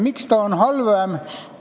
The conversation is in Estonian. Miks ta on kõige halvem?